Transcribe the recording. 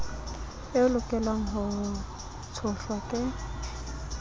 e lokelwang ho tshohlwa ke